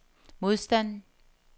modstand